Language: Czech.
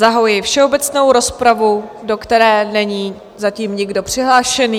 Zahajuji všeobecnou rozpravu, do které není zatím nikdo přihlášen.